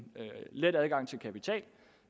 lande